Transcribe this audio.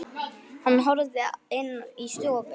Hann hörfaði inn í stofu.